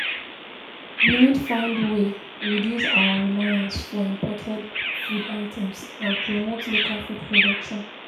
Government need do more to control di prices of food items and make dem more affordable for di masses.